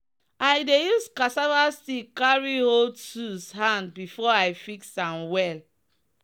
i dey use cassava stick carry hold tools hand before i fix am well